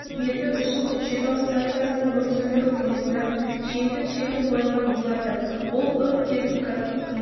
ету үшін көкшетау станциясының өрт сөндіру пойызынан жеңдік желі қойылған болатын ол өрт техникасын сумен